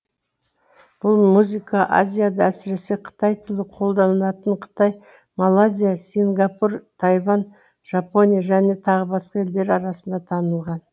бұл музыка азияда әсіресе қытай тілі қолданылатын қытай малайзия сингапур тайвань жапония және тағы басқа елдер арасында танылған